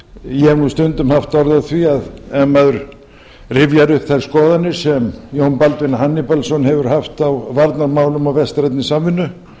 ég hef nú stundum haft orð á því að ef maður rifjar upp þær skoðanir sem jón baldvin hannibalsson hefur haft á varnarmálum og vestrænni samvinnu